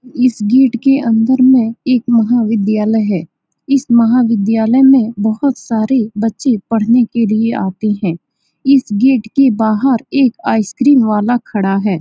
यह एक सैलून है न्यू स्टार सैलून यह सैलून देखने में बहुत ही अच्छा है यहा पे हर डिज़ाइन से बाल काटी जाती है यहाँ के नाई बहुत ही अच्छे हैं।